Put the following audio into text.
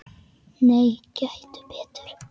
Nei, gettu betur